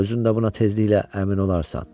Özün də buna tezliklə əmin olarsan.